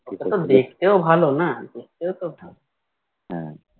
ও তো দেখতেও ভালো না দেখতেও তো ভালো